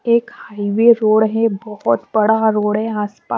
एक highway road है बहुत बड़ा रोड है आसपास ।